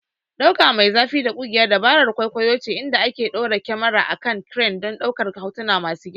Ɗaukan me zafi da ƙugiya dabarar kwaikwayo ce inda aka ɗora kyamara a kan crane don ɗaukar hotuna masu girma.